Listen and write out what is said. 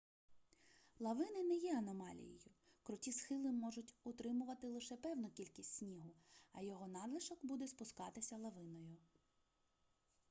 лавини не є аномалією круті схили можуть утримувати лише певну кількість снігу а його надлишок буде спускатися лавиною